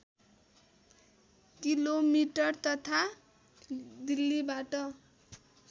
kilometre तथा दिल्‍लीबाट